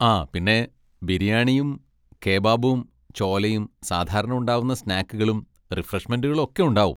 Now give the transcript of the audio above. ആ പിന്നെ ബിരിയാണിയും കെബാബും ചോലെയും സാധാരണ ഉണ്ടാവുന്ന സ്നാക്കുകളും റിഫ്രഷ്മെന്റുകളും ഒക്കെ ഉണ്ടാവും.